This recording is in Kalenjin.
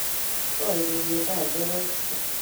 Koigeny eng saishek aeng